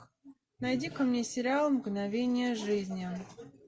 найди ка мне сериал мгновения жизни